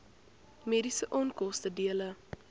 mediese onkoste dele